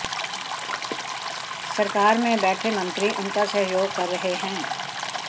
सरकार में बैठे मंत्री उनका सहयोग कर रहे हैं